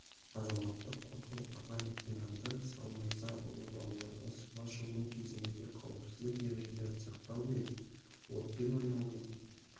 азаматтық қорғау аға лейтенанты салмырзаұлы балаларға суға шомылу кезіндегі қауіпсіздік ережелерін сақтау мен отпен ойнаудың